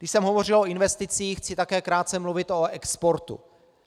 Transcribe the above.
Když jsem hovořil o investicích, chci také krátce mluvit o exportu.